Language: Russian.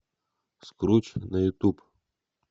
скруч на ютуб